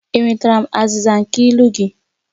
Enwetara m azịza nke ilu gị?